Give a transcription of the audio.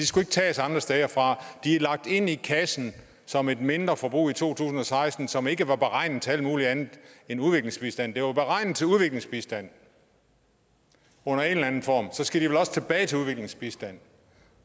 skulle tages andre steder fra de er lagt ind i kassen som et mindreforbrug i to tusind og seksten som ikke var beregnet til alt muligt andet end udviklingsbistand de var beregnet til udviklingsbistand under en eller anden form og så skal de vel også tilbage til udviklingsbistand